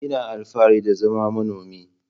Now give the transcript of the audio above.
Ina alfahari da zama manomi.